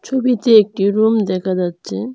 ছবিতে একটি রুম দেখা যাচ্ছে।